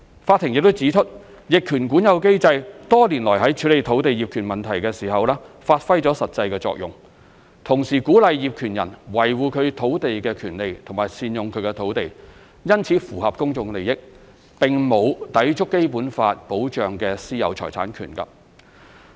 法庭亦指出，逆權管有機制多年來在處理土地業權問題時發揮實際作用，同時鼓勵業權人維護其土地權利和善用其土地，因此符合公眾利益，並沒有抵觸《基本法》保障的私有財產權。